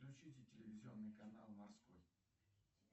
включите телевизионный канал морской